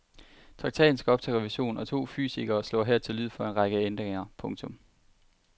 Traktaten skal op til revision og to fysikere slår her til lyd for en række ændringer. punktum